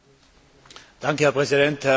Herr Präsident, Herr Kommissar!